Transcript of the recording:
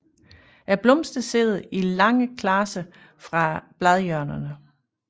Blomsterne sidder i lange klaser fra bladhjørnerne